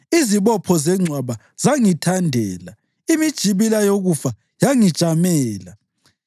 Izibopho zengcwaba zangithandela; imijibila yokufa yangijamela.